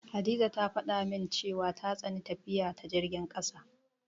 Hadiza ta faɗa min cewa ta tsani tafiya ta jirgin ƙasa.